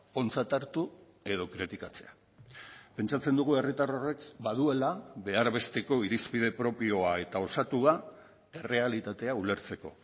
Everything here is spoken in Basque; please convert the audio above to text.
ontzat hartu edo kritikatzea pentsatzen dugu herritar horrek baduela behar besteko irizpide propioa eta osatua errealitatea ulertzeko